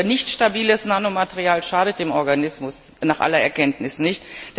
Nicht stabiles Nanomaterial schadet dem Organismus nach aller Erkenntnis nicht.